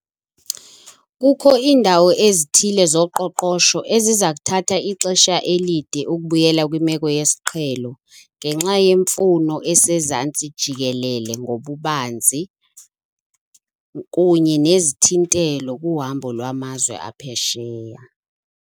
Kukho iindawo ezithile zoqoqosho eziza kuthatha ixesha elide ukubuyela kwimeko yesiqhelo ngenxa yemfuno esezantsi jikelele ngobubanzi kunye nezithintelo kuhambo lwamazwe aphesheya.